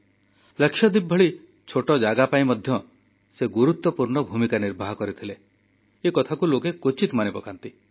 କିନ୍ତୁ ଲାକ୍ଷାଦ୍ୱୀପ ଭଳି ଛୋଟ ଜାଗା ପାଇଁ ମଧ୍ୟ ସେ ଗୁରୁତ୍ୱପୂର୍ଣ୍ଣ ଭୂମିକା ନିର୍ବାହ କରିଥିଲେ ଏକଥାକୁ ଲୋକେ କ୍ୱଚିତ ମନେପକାନ୍ତି